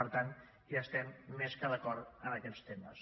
per tant hi estem més que d’acord en aquests temes